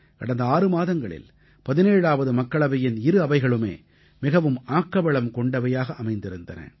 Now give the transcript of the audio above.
கடந்த ஆறு மாதங்களில் 17ஆவது மக்களவையின் இரு அவைகளுமே மிகவும் ஆக்கவளம் கொண்டவையாக அமைந்திருந்தன